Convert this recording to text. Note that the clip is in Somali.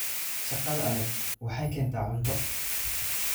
Shaqada adag waxay keentaa cunto